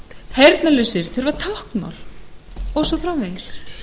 heyrnarlausir þurfa táknmál og svo framvegis